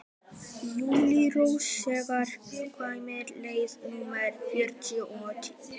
Júlírós, hvenær kemur leið númer þrjátíu og þrjú?